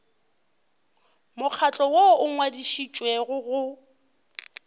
mokgatlo woo o ngwadišitšwego go